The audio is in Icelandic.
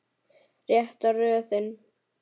Rétta röðin.